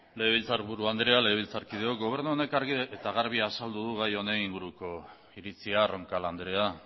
legebiltzar buru andre legebiltzarkideok gobernu honek argi eta garbi azaldu du gai honen inguruko iritzia roncal andrea